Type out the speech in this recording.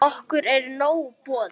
Okkur er nóg boðið